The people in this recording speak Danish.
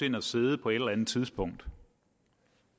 ind at sidde på et eller andet tidspunkt